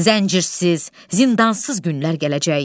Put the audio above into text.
Zəncirsiz, zindansız günlər gələcək.